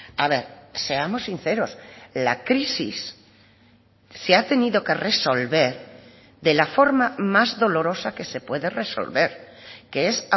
a ver seamos sinceros la crisis se ha tenido que resolver de la forma más dolorosa que se puede resolver que es